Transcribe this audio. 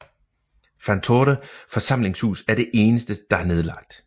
Vantore forsamlingshus er det eneste der er nedlagt